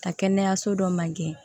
Ka kɛnɛyaso dɔ man gɛn